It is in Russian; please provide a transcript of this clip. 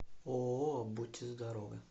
ооо будьте здоровы